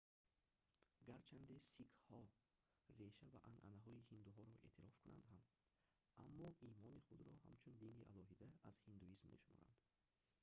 гарчанде сикхҳо реша ва анъанаҳои ҳиндуҳоро эътироф кунанд ҳам аммо имони худро ҳамчун дини алоҳида аз ҳиндуизм мешуморанд